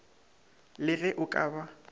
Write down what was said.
le ge o ka ba